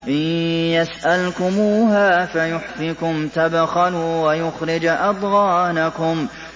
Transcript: إِن يَسْأَلْكُمُوهَا فَيُحْفِكُمْ تَبْخَلُوا وَيُخْرِجْ أَضْغَانَكُمْ